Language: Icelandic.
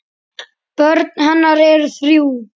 Börn hennar eru þrjú.